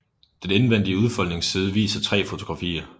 Den indvendige udfoldningsside viser tre fotografier